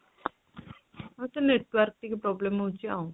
ବୋଧେ network ଟିକେ problem ହଉଚି ଆଉ